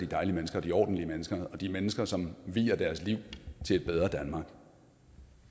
dejlige mennesker de er ordentlige mennesker og de er mennesker som vier deres liv til et bedre danmark